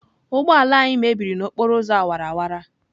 Ụgbọ ala anyị mebịrị n'okporo ụzọ awara awara.